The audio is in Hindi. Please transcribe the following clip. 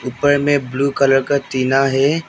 ऊपर में ब्लू कलर का टिना है।